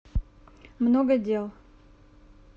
много дел